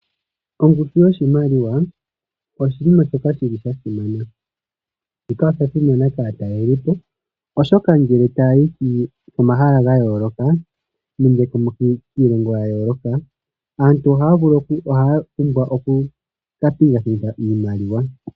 Ongushu yoshimaliwa oshiima shimwe shoka shili shasimana kaatalelipo, oshoka ngele taya yi komahala gayoloka nenge kiilongo yayooloka aantu ohaya pumbwa okuka pingakanitha iimaliwa.